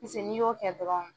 ni y'o kɛ dɔrɔn.